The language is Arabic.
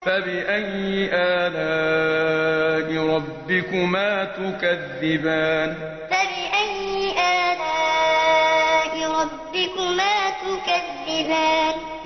فَبِأَيِّ آلَاءِ رَبِّكُمَا تُكَذِّبَانِ فَبِأَيِّ آلَاءِ رَبِّكُمَا تُكَذِّبَانِ